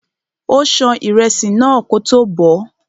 Ó ṣan ìrẹsì náà kótó bọ̀ọ́.